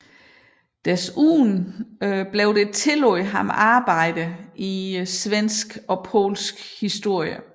Desuden tillægges der ham arbejder i svensk og polsk historie